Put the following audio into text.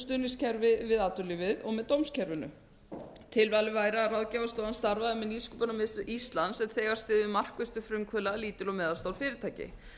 stuðningskerfi við atvinnulífið og með dómskerfinu tilvalið væri að ráðgjafarstofan starfaði með nýsköpunarmiðstöð íslands sem þegar styður markvisst við frumkvöðla lítil og meðalstór fyrirtæki